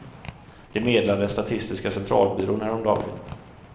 Det meddelade den statistiska centralbyrån häromdagen.